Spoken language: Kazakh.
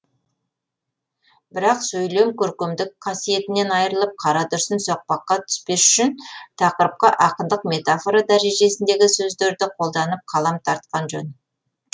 бірақ сөйлем көркемдік қасиетінен айырылып қарадүрсін соқпаққа түспес үшін тақырыпқа ақындық метафора дәрежесіндегі сөздерді қолданып қалам тартқан жөн